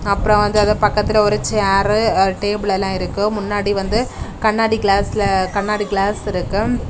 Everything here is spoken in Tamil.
அப்புறம் வந்து அது பக்கத்துல ஒரு சேரு டேபிள் எல்லா இருக்கு முன்னாடி வந்து கண்ணாடி கிளாஸ்ல கண்ணாடி கிளாஸ் இருக்கு.